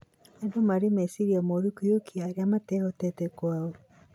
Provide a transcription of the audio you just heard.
Andũ marĩ meciiria moru kũiyũkia arĩa matehotete kwao